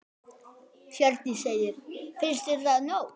Hjördís: Finnst þér það nóg?